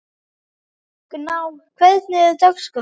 Gná, hvernig er dagskráin?